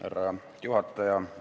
Härra juhataja!